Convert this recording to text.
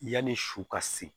Yanni su ka se